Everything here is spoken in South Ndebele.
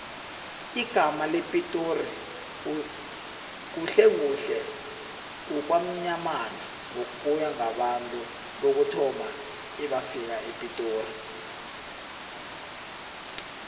igamma lepitori khuhlekhuhle kukwamnyamana ngokuya ngabantu bokuthoma ebafika epitori